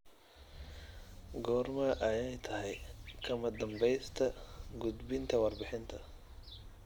Goorma ayay tahay kama dambaysta gudbinta warbixinta?